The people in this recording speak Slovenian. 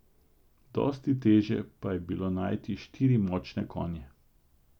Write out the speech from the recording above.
Dosti težje pa je bilo najti štiri močne konje.